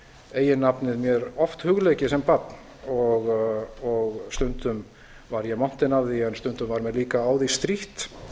eiginnafnið mér oft hugleikið sem barn og stundum var ég montinn af því en stundum var mér líka á því strítt